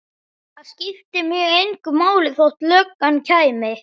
Það skipti mig engu máli þótt löggan kæmi.